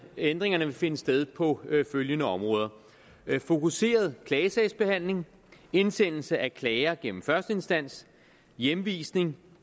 ændringerne vil finde sted på følgende områder fokuseret klagesagsbehandling indsendelse af klager gennem førsteinstans hjemvisning